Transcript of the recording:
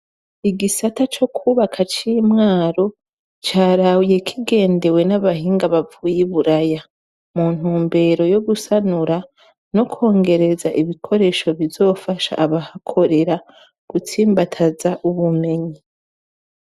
Igisata co kwubaka c'imwaru carawuye kigendewe n'abahinga bavuyi buraya mu ntu mbero yo gusanura no kwongereza ibikoresho bizofasha abahakorera gutsimbataza ubumenyi.